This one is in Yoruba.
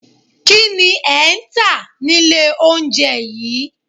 Kínni ẹ ntà nílé oúnjẹ yìí?